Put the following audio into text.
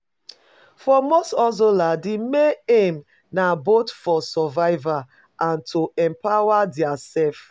For most hustlers di main aim na both for survival and to empower their self